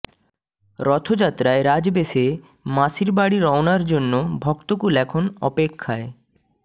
রথযাত্রায় রাজবেশে মাসির বাড়ি রওনার জন্য ভক্তকুল এখন অপেক্ষায়